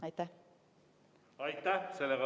Aitäh!